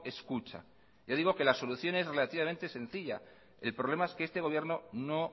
escucha ya digo que la solución es relativamente sencilla el problema es que este gobierno no